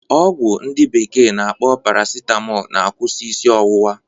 Ọgwụ ndi bekee na-akpọ parasitamọl na-akwụsị isi ọwụwa